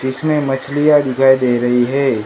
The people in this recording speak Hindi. जिसमें मछलियां दिखाई दे रही है।